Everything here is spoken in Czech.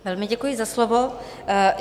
Velmi děkuji za slovo.